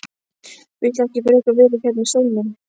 Viltu ekki frekar vera hérna í stólnum?